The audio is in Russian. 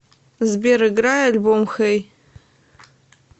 сбер играй альбом хэй